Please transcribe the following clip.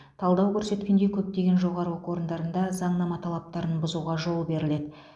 талдау көрсеткендей көптеген жоғары оқу орындарында заңнама талаптарын бұзуға жол беріледі